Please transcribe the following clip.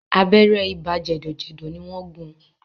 Abẹ́rẹ́ ibà jẹ̀dọ̀jẹ̀dọ̀ ni wọ́n gún un.